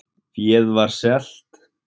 Féð var selt